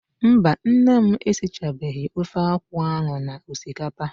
Mba, nne m esichabeghị ofe akwụ ahụ na osikapa.